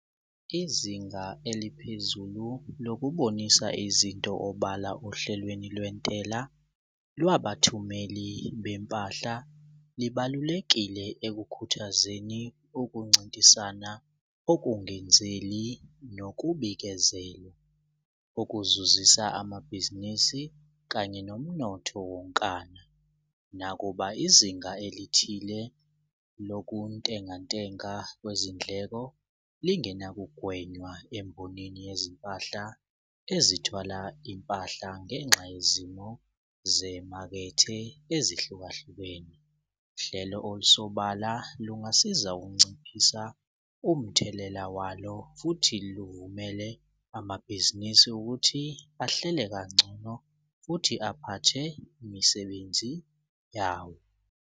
Izinga eliphezulu lokubonisa izinto obala ohlelweni lwentela lwabathumeli bempahla libalulekile ekukhuthazeni ukuncintisana okungenzeli nokubikezelwa okuzuzisa amabhizinisi kanye nomnotho wonkana. Nakuba izinga elithile lokuntenga ntenga kwezindleko lingena kugwenywa emboneni yezimpahla ezithwala impahla ngenxa yezimo zemakethe ezihlukahlukene. Uhlelo olusobala lungasiza ukunciphisa umthelela walo futhi luvumele amabhizinisi ukuthi ahlele kangcono futhi aphathe imisebenzi yawo.